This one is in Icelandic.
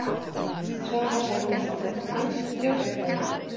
Svavar Halldórsson: Fannst stjórnin?